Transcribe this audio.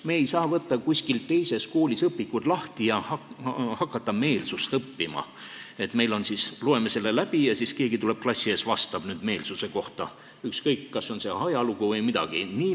Me ei saa võtta kuskil koolis õpikut lahti ja hakata meelsust õppima, et loeme selle läbi ja siis keegi tuleb klassi ette vastama meelsuse kohta, ükskõik, kas see on ajalugu või midagi muud.